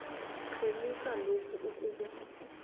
rhemisa lokho okube